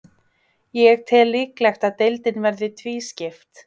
Ég tel líklegt að deildin verði tvískipt.